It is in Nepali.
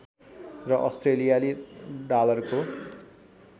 र अस्ट्रेलियाली डालरको